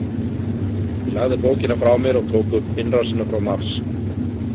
Ég lagði bókina frá mér og tók upp Innrásina frá Mars.